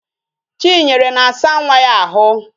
Chinyere na-asa nwa ya ahụ